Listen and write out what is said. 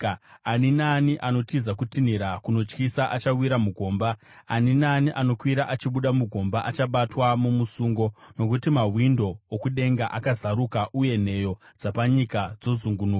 Ani naani anotiza kutinhira kunotyisa, achawira mugomba; ani naani anokwira achibuda mugomba achabatwa mumusungo. Nokuti mawindo okudenga azaruka, uye nheyo dzapanyika dzozungunuka.